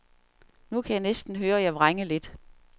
Nu kan jeg næsten høre jer vrænge lidt.